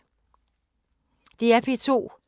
DR P2